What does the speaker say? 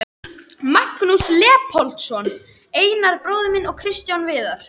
Magnús Leópoldsson, Einar bróðir minn og Kristján Viðar.